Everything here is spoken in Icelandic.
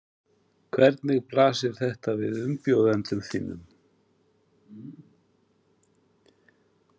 Hvernig blasir þetta við umbjóðendum þínum?